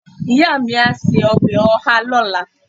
iya mi a se obe oha lola